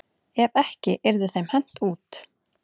Ef ekki yrði þeim hent út.